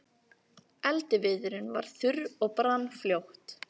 Eldiviðurinn var þurr og brann fljótt.